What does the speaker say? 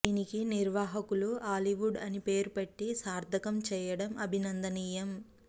దీనికి నిర్వాహకులు హాలీవుడ్ అని పేరు పెట్టి సార్థకం చెయ్యటం అభినందనీయం